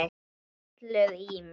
Hrollur í mér.